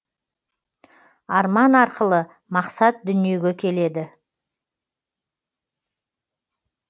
арман арқылы мақсат дүниеге келеді